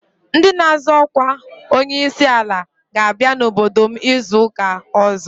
Ndị na-azọ ọkwa onye isi ala ga-abịa n'obodo m izu ụka ọzọ.